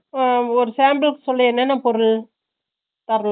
ஓ ஒரு sample சொல்லு என்னன்னா பொருள் தரலாம்